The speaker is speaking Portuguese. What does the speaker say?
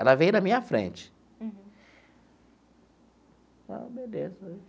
Ela veio na minha frente ah beleza.